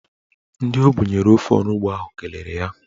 Ndị o bunyere ofe onugbo ahụ kelere ya.